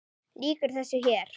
Lýkur þessu hér?